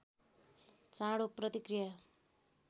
चाँडो प्रतिक्रया